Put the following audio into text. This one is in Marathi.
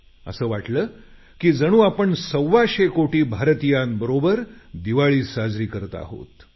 असं वाटलं की जणू आपण सव्वाशे कोटी भारतीयांबरोबर दिवाळी साजरी करीत आहोत